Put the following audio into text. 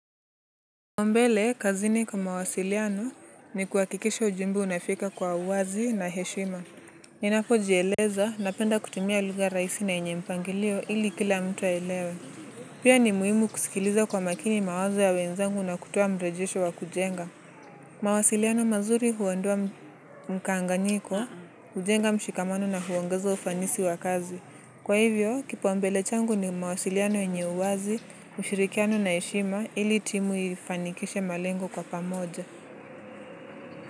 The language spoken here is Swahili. Mbele, kazini kwa mawasiliano ni kuhakikisha ujumbe unafika kwa uwazi na heshima. Ninapo jieleza, napenda kutumia lugha raisi na enye mpangilio ili kila mtu aelewe. Pia ni muhimu kusikiliza kwa makini mawazo ya wenzangu na kutoa mrejesho wa kujenga. Mawasiliano mazuri huondoa mkanganyiko, hujenga mshikamano na huongeza ufanisi wa kazi. Kwa hivyo, kipa umbele changu ni mawasiliano yenye uwazi, ushirikiano na eshima ili timu ifanikishe malengo kwa pamoja.